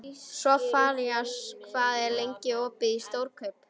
Sophanías, hvað er lengi opið í Stórkaup?